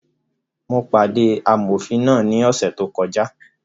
Mo pàdé amọ̀fin náà ní ọ̀sẹ̀ tó kọjá